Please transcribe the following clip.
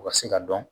U ka se ka dɔn